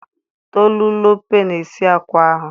Tolulope na-esi akwa ahụ